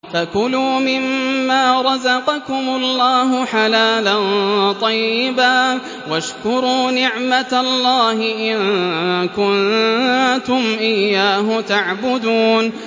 فَكُلُوا مِمَّا رَزَقَكُمُ اللَّهُ حَلَالًا طَيِّبًا وَاشْكُرُوا نِعْمَتَ اللَّهِ إِن كُنتُمْ إِيَّاهُ تَعْبُدُونَ